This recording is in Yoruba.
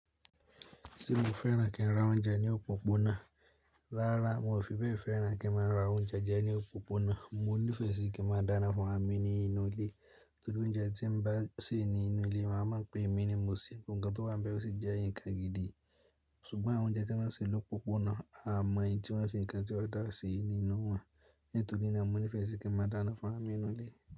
Ṣé mo fẹ́ràn kí n ra oúnjẹ ní òpópónà? Rárá, hun ò fi bẹ́ẹ̀ fẹ́ràn kí n máa ra oúnjẹ jẹ ní òpópónà, mo nífẹ̀ẹ́ sí kí n máa dáná fún raàmi nínú ilé. Torí oúnjẹ tí ń bá sè nínú ilé, màá mọ̀ pé èmi ni mo sèé, nǹkan tó wà bẹ̀ ó sì jẹ́ nǹkan gid. Ṣùgbọ́n àwọn oúnjẹ tí wọ́n sì lópópónà, a mọ̀ èyí tí wọ́n fi nǹkan tí ọ̀ dáa sí nínú wọn, nítorí náà mo nífẹ̀ẹ́ sí kí a máa dáná fún raàmi hín núulé.